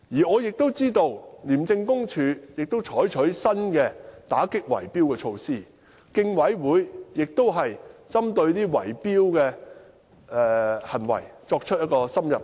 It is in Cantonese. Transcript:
我知道廉署也採取了打擊圍標的新措施，競委會亦已針對圍標行為作出深入研究。